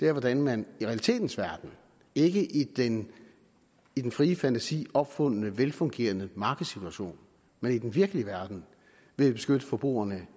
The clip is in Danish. er hvordan man i realitetens verden ikke i den i den frie fantasi opfundne velfungerende markedssituation men i den virkelige verden vil beskytte forbrugerne